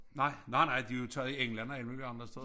Nej nej nej de jo taget i England og alle mulige andre steder